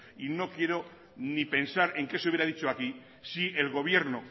y no quiero ni pensar en qué se hubiera dicho aquí si el gobierno